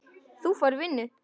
Þú færð vinnu.